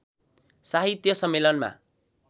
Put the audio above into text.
साहित्य सम्मेलनमा